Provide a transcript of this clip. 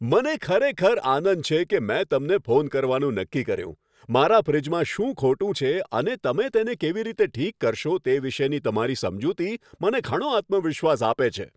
મને ખરેખર આનંદ છે કે મેં તમને ફોન કરવાનું નક્કી કર્યું. મારા ફ્રિજમાં શું ખોટું છે અને તમે તેને કેવી રીતે ઠીક કરશો તે વિશેની તમારી સમજૂતી મને ઘણો આત્મવિશ્વાસ આપે છે.